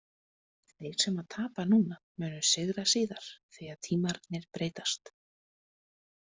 Þeir sem tapa núna munu sigra síðar því að tímarnir breytast.